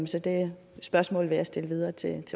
så det spørgsmål vil jeg stille videre til